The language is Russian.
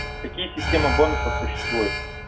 какие система бонусов существует